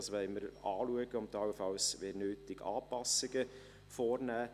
Dies wollen wir anschauen und wenn nötig allenfalls Anpassungen vornehmen.